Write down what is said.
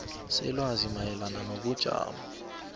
selwazi mayelana nobujamo